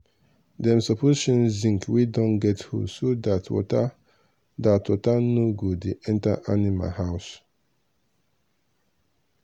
dem suppose change zinc wey don get hole so dat water dat water no go dey enter animal house